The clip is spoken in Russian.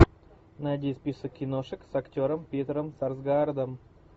найди список киношек с актером питером сарсгаардом